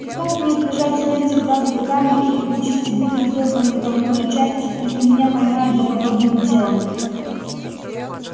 и как мне избежать смерти в газовой камере или участи быть разорванным толпой на части если меня поймают за подобным делом